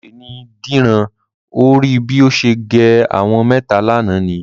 Wèrè ni Dìran. O ò rí bí ó ṣe gé àwọn mẹ́ta lánàá ni?